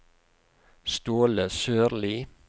Ståle Sørlie